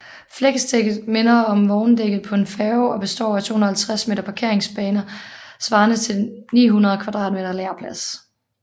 Flexdækket minder om vogndækket på en færge og består af 250 meter parkeringsbaner svarende til 900m² lagerplads